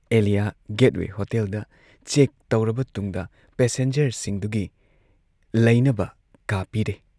Alia gateway ꯍꯣꯇꯦꯜꯗ check ꯇꯧꯔꯕ ꯇꯨꯡꯗ ꯄꯦꯁꯦꯟꯖꯔꯁꯤꯡꯗꯨꯒꯤ ꯂꯩꯅꯕ ꯀꯥ ꯄꯤꯔꯦ ꯫